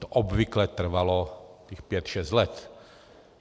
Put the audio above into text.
To obvykle trvalo těch pět šest let.